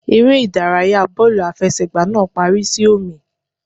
Eré ìdárayá bọ́ọ̀lù àfẹsẹ̀gbá náà parí sí ọ̀mì.